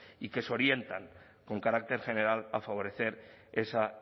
y que se orientan con carácter general a favorecer esa